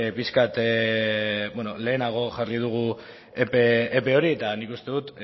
pixkat lehenago jarri dugu epe hori eta nik uste dut